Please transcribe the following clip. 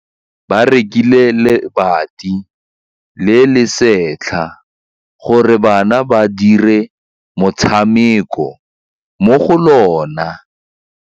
Ba rekile lebati le le setlha gore bana ba dire motshameko mo go lona.